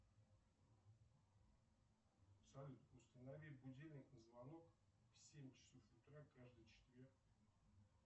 салют установи будильник на звонок в семь часов утра каждый четверг